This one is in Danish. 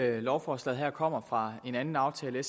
i lovforslaget her kommer fra en anden aftale